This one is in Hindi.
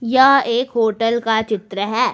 यह एक होटल का चित्र है।